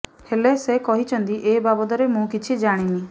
ହେଲେ ସେ କହିଛନ୍ତି ଏ ବାବଦରେ ମୁ କିଛି ଜାଣିନି